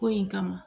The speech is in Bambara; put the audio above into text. Ko in kama